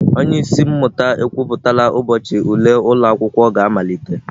Onye isi mmụta ekwuputala ụbọchị ule ụlọ akwụkwọ ga-amalite.